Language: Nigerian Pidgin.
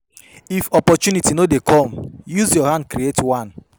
If opportunity no de come use your hand create one